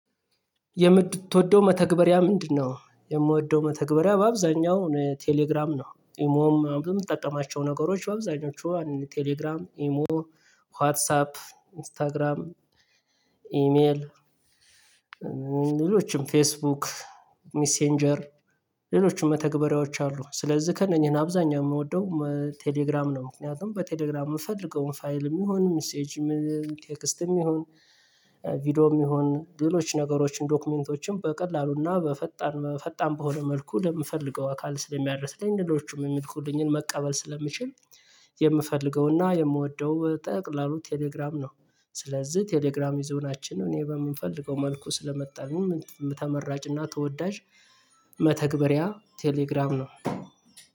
የምትወደው መተግበሪያ ምንድነው? የምወደው መተግበሪያ በአብዛኛው ቴሌግራም ነው። የምትጠቀማቸው ነገሮች በአብዛኞቹ ቴሌግራም፣ ኢሞ፣ ዋትሳፕ፣ ኢንስታግራም፣ ኢሜል ሌሎችም ፌስቡክ፣ ሚሴንጀር፣ ሌሎችም መተግበሪያዎች አሉ። ስለዚህ ከእነኚህ አብዛኛው የምወደው ቴሌግራም ነው። ምክንያቱም በቴሌግራም የምፈልገውን ፋይልም ይሁን፣ ሜሴጅም፣ ቴክስትም ይሁን፣ ቪዲዮም ይሁን፣ ሌሎች ነገሮችን ዶክመንቶችን በቀላሉና በፈጣን በፈጣን በሆነ መልኩ ለምፈልገው አካል ስለሚያደርስ ለነገሮቹም የሚልኩልኝን መቀበል ስለምችል የምፈልገውና የምወደው ጠቅላላ ቴሌግራም ነው። ስለዚህ ቴሌግራም የዞናችን ነው እኔ በምንፈልገው መልኩ ስለመጣልኝ ተመራጭና ተወዳጅ መተግበሪያ ቴሌግራም ነው።